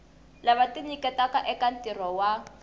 lava tinyiketaka eka ntirho wa